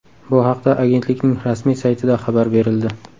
Bu haqda agentlikning rasmiy saytida xabar berildi .